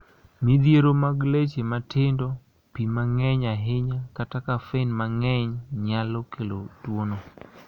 Midhiero mag leche matindo, pi mang�eny ahinya, kata kafein mang�eny nyalo kelo tuwono.